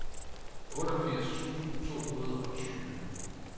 otteogfirs tusind to hundrede og tyve